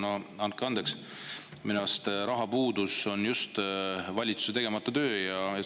No andke andeks, minu arust on rahapuudus just valitsuse tegemata töö.